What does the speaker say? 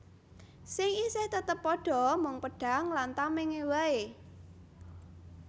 Sing isih tetep padha mung pedhang lan tamèngé waé